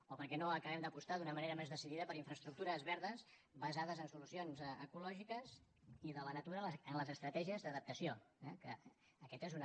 o per què no acabem d’apostar d’una manera més decidida per infraestructures verdes basades en solucions ecològiques i de la natura en les estratègies d’adaptació eh que aquesta és una